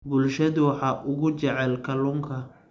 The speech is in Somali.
Bulshadu waxa ugu jecel kalluunka.